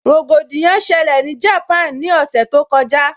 Rògbòdìyàn ṣẹlẹ̀ ní Japan ní ọ̀sẹ̀ tó kọjá